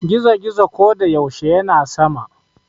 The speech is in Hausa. gizo- gizo ko da yaushe yana sama